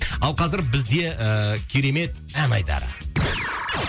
ал қазір бізде ыыы керемет ән айдары